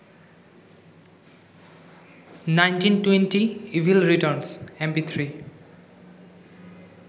1920 evil returns mp3